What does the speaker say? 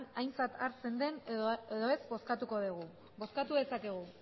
aintzat hartzen den edo ez bozkatuko dugu bozkatu dezakegu